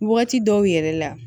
Wagati dɔw yɛrɛ la